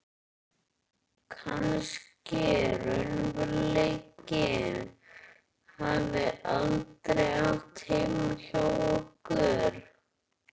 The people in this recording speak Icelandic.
Kannski raunveruleikinn hafi aldrei átt heima hjá okkur.